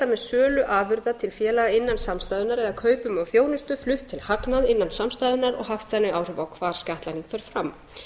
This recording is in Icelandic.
með sölu afurða til félaga innan samstæðunnar eða kaupum á þjónustu flutt til hagnað innan samstæðunnar og haft þannig áhrif á hvar skattlagning fer fram